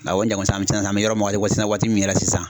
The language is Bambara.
Awɔ an bɛ yɔrɔ min na waati min yɛrɛ